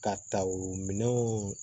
Ka ta o minɛnw